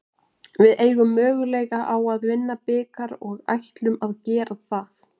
Við eigum möguleika á að vinna bikar og ætlum að gera það.